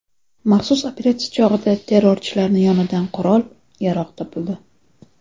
Maxsus operatsiya chog‘ida terrorchilarning yonidan qurol-yarog‘ topildi.